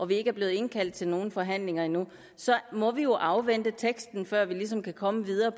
vi ikke er blevet indkaldt til nogen forhandlinger endnu må vi jo afvente teksten før vi ligesom kan komme videre